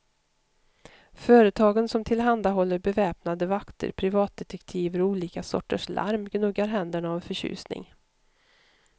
Företagen som tillhandahåller beväpnade vakter, privatdetektiver och olika sorters larm gnuggar händerna av förtjusning.